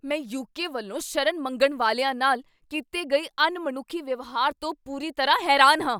ਮੈਂ ਯੂਕੇ ਵੱਲੋਂ ਸ਼ਰਨ ਮੰਗਣ ਵਾਲਿਆਂ ਨਾਲ ਕੀਤੇ ਗਏ ਅਣਮਨੁੱਖੀ ਵਿਵਹਾਰ ਤੋਂ ਪੂਰੀ ਤਰ੍ਹਾਂ ਹੈਰਾਨ ਹਾਂ।